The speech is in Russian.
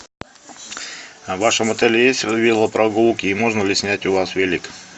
а в вашем отеле есть велопрогулки и можно ли снять у вас велик